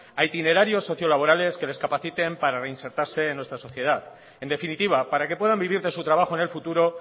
a itinerarios sociolaborales que les capaciten para reinsertarse en nuestra sociedad en definitiva para que puedan vivir de su trabajo en el futuro